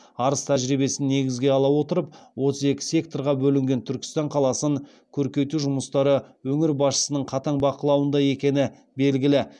арыс тәжірибесін негізге ала отырып отыз екі секторға бөлінген түркістан қаласын көркейту жұмыстары өңір басшысының қатаң бақылауында екені белгілі